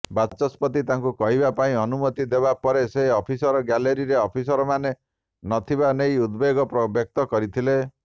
ବାଚସ୍ପତି ତାଙ୍କୁ କହିବା ପାଇଁ ଅନୁମତି ଦେବାପରେ ସେ ଅଫିସର ଗ୍ୟାଲେରୀରେ ଅଫିସରମାନେ ନଥିବା ନେଇ ଉଦବେଗ ବ୍ୟକ୍ତ କରିଥିଲେ